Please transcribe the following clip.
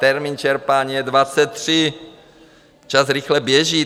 Termín čerpání je 23, čas rychle běží.